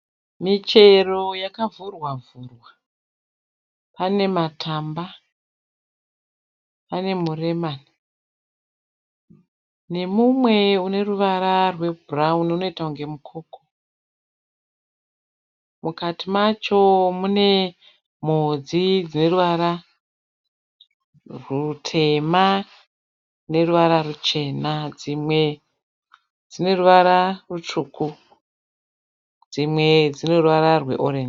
Michero yakavhurwa vhurwa. Pane matamba pane muremani nemumwe une ruvara rwebhurawuni unoita kunge mukoko. Mukati macho mune mhodzi dzeruvara rutema neruvara ruchena. Dzimwe dzine ruvara rutsvuku. Dzimwe dzine ruvara rweorenji.